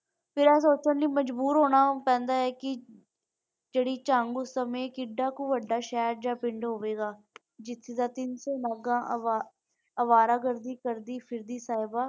ਫਿਰ ਇਹ ਸੋਚਣ ਨੂੰ ਮਜਬੂਰ ਹੋਣਾ ਪੈਂਦਾ ਹੈ ਕਿ ਜਿਹੜੀ ਸਮੇਂ ਕਿੰਨਾ ਵੱਡਾ ਸ਼ਹਿਰ ਜਾਂ ਪਿੰਡ ਹੋਵੇਗਾ ਹੋਵੇਗਾ ਜਿਥੇ ਅਵਾਰਾ ਗਰਦੀ ਕਰਦੀ ਫਿਰਦੀ ਸਾਹਿਬਾ।